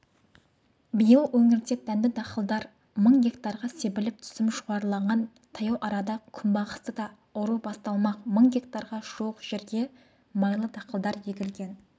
биыл өңірде дәнді-дақылдар мың гектарға себіліп түсім жоғарылаған таяу арада күнбағысты да ору басталмақ мың гектарға жуық жерге майлы дақылдар егілген